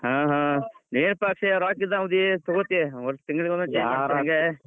ಹ್ಮ ಹ್ಮ ಏನ್ ಪಾ ಅಕ್ಷಯ್ ರೋಕ್ಕ್ ಇದ್ದವ ಅದಿ ತುಗೋತಿ, ಒಟ್ ತಿಂಗಳಿಗೊಂದ್ change ಮಾಡ್ತಿ ಹಂಗ್.